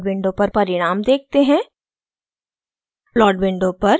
अब plot window पर परिणाम देखते हैं